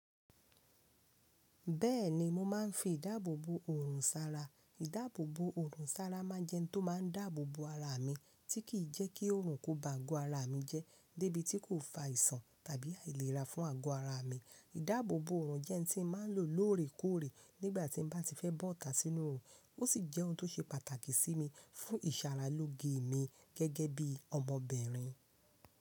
Bẹ́ẹ̀ni mo máa ń fi ìdáàbò bo òòrùn sára. Ìdáàbò bo òòrùn sára máa n jẹ́ ohun tó máa ń dáàbò bo ara mi tí kì í jẹ́ kí òòrùn kó ba ago ara mi jẹ́ débi tí kò fa ìsan tàbí àìlera fún ago ara mi. Ìdáàbò bo òòrùn jẹ́ n tí máa ń lò lóòrèkóòrè nígbà tí n bá ti fẹ́ bọ́ ọ̀tá sínú òòrùn, ó sì jẹ́ ohun tó ṣe pàtàkì sí mi fún ìsara lóge mi gẹ́gẹ́ bí omo bìnrin.